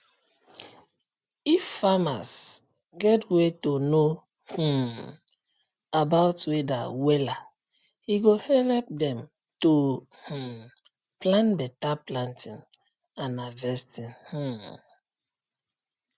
if farmers get way to know um about weather wella e go help dem to um plan beta planting and harvesting um